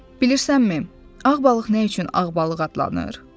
Bilirsənmi, ağ balıq nə üçün ağ balıq adlanır?